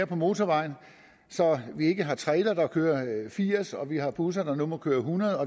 på motorvejene så vi ikke har trailere der kører firs kmt og vi har busser der nu må køre hundrede